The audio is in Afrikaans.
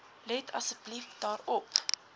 let asseblief daarop